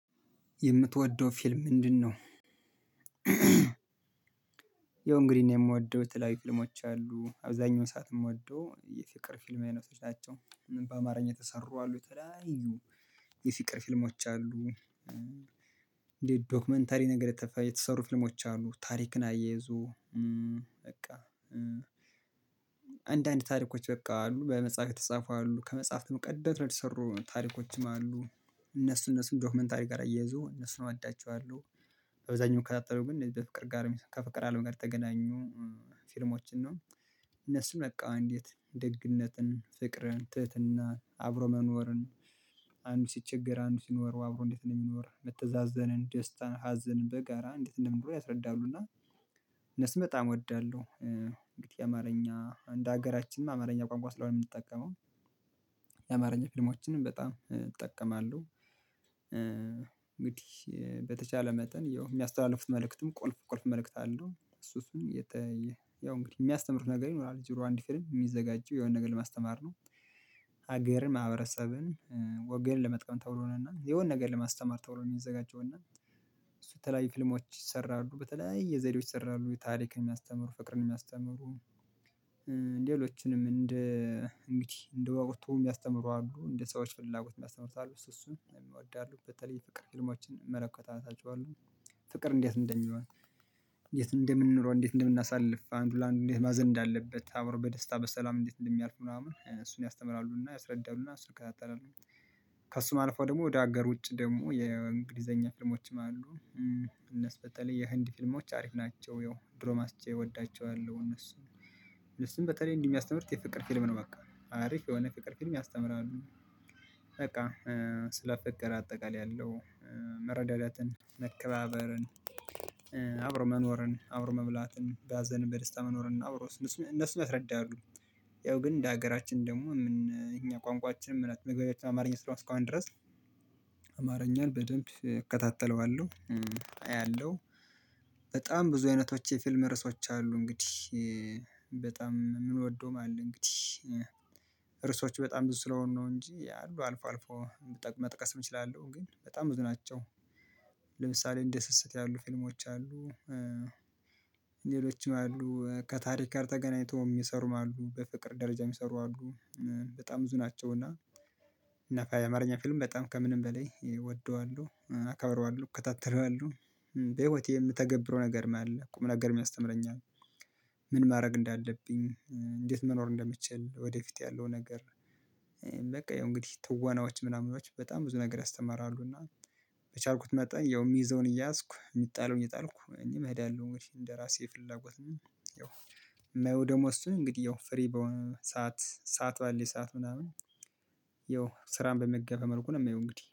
የምትወደው ፊልም ምንድነው? ያው እንግዲህ የምወደው የተለያዩ ፊልሞች አሉ አብዛኛው ሰዓት የምወደው የፍቅር ፊልም አይነት ናቸው። ምን በአማርኛ ተሰሩ አሉ የተለያዩ የፍቅር ፊልሞች አሉ። እንደ ዶክመንታሪ ነገር የተሰሩ ፍልሞች አሉ ታሪክን አያይዞ በቃ አንዳንድ ታሪኮች በቃ አሉ በመጽሐፍ የተጻፉ አሉ ከመጽሐፍ ቀደት የተሰሩ ታሪኮችም አሉ። እነሱ እነሱን ዶክመንታሪ ጋር አያይዞ እነሱን እወዳቸዋለሁ። በብዛኛው የምከታተለው ግን እንደ በፍቅር ጋር ከፍቅር አለም ጋር ተገናኙ ፊልሞችን ነው። እነሱም በቃ እንዴት ደግነትን ፍቅርን ትህትና አብሮ መኖርን አንዱ ሲቸገር አንዱ ሲኖር አብሮ እንዴት ነው የሚኖር መተዛዘንን ደስታ ሀዘንን በጋራ እንዴት እንደምንኖር ያስረዳሉ። እነሱን በጣም እወዳለሁ። እንግዲህ ያማርኛ እንደ ሀገራችን አማርኛ ቋንቋ ስለሆነ የምንጠቀመው ያማርኛ ፊልሞችንም በጣም እጠቀማለሁ። እንግዲህ በተቻለ መጠን የሚያስተላልፉት መልእክትም ቁልፍ ቁልፍ መልእክት አለው። እሱ እሱን የተ ያው እንግዲህ የሚያስተምር ነገር ይኖራል ዙሮ አንድ ፊርም የሚዘጋጁው የሆነ ነገር ለማስተማር ነው። ሀገርን ማህበረሰብን ወገን ለመጥቀም ተብሎ ነው። እና የሆነ ነገር ለማስተማር ተብሎ ነው የሚዘጋጀው። እና እሱ በተለያዩ ፊልሞች ይሰራሉ በተለያየ ዘዴዎች ይሰራሉ ታሪክን የሚያስተምሩ ፍቅርን የሚያስተምሩ። ሌሎችንም እንደ እንግዲህ እንደ ወቅቱ የሚያስተምሩ አሉ እንደ ሰዎች ፍላጎት የሚያስተምሩት አሉ እሱ እሱን እወዳለሁ። በተለይ ፍቅር ፊልሞችን መለከት አናጨዋለሁ ፍቅር እንዴት እንደሚሆን እንዴት እንደምንኖር እንዴት እንደምናሳልፍ አንዱ ለአንዱ እንዴት ማዘን እንዳለበት አብሮ በደስታ በሰላም እንዴት እንደሚያልፍ ምናምን እሱን ያስተምራሉና ያስረዳሉና እሱን እክታተላለሁ። ከእሱ ማልፋው ደግሞ ወደ ሀገር ውጭ ደግሞ የእንግሊዘኛ ፍልሞችም አሉ። እነሱ በተለይ የህንድ ፊልሞች አሪፍ ናቸው። ያው ድሮ ማስቼ እወዳቸዋለሁ እነሱን እሱን በተለይ እንዲህ እንደሚያስተምር የፍቅር ፊልም ነው በቃ አሪፍ የሆነ የፍቅር ፊልም ያስተምራሉ። ስለ ፍቅር አጠቃላይ ያለው መረዳዳትን መከባበርን አብሮ መኖርን አብሮ መብላትን በሀዘን በደስታ መኖርን አብሮ እነሱ ያስረዳት። ያው ግን እንደ ሀገራችን ደግሞ እኛ ቋንቋችን ምን መግባቢያችን አማርኛ ስራ እስከሆነ ድረስ አማርኛን በደንብ እከታተለዋለሁ። አያለሁ በጣም ብዙ አይነቶች የፊልም ርዕሶች አሉ። እንግዲህ በጣም የምንወደው አለ እንግዲህ ርዕሶቹ በጣም ብዙ ስለሆኑ ነው እንጂ አሉ አልፎ አልፎ መጥቀስም እችላለሁ። ግን በጣም ብዙ ናቸው። ለምሳሌ እንደ ስስት ያሉ ፊልሞች አሉ። ሌሎችም አሉ ከታሪክ ጋር ተገናኝቶም ሚሰሩም አሉ በፍቅር ደረጃ ሚሰሩ አሉ። በጣም ብዙ ናቸው። እና እና ፋይ አማርኛ ፊልም በጣም ከምንም በላይ እወደዋለሁ አከብረዋለሁ ከታተለዋለሁ። በህይወቴ የምተገብረው ነገርም አለ ቁም ነገር ሚያስተምረኛል። ምን ማድረግ እንዳለብኝ እንዴት እንደምትችል ወደፊት ያለው ነገር። በቃ ያው እንግዲህ ትዋናዎች ምናምኖች በጣም ብዙ ነገር ያስተምራሉ እና በቻልኩት መጠን ያው የሚይዘውን እያዝኩ የሚጣለውን እየጣልኩ እኔም ሄዳለሁ እንደ ራሴ ፍላጎት ነው። ያው የማየው ደግሞ እሱን እንግዲህ ያው ፍሬ በሆነ ሰዓት ሰዓት ባለ ሰዓት ምናምን። ያው ስራን በማይገራ መልኩ ነው የሚለው እንግዲህ